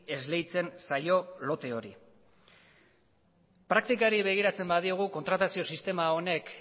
esleitzen zaio lote hori praktikari begiratzen badiogu kontratazio sistema honek